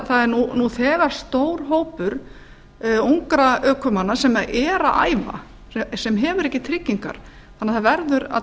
það er nú þegar stór hópur ungra ökumanna sem er að æfa sem hefur ekki tryggingar þannig að það verður að